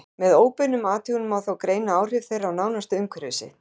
Með óbeinum athugunum má þó greina áhrif þeirra á nánasta umhverfi sitt.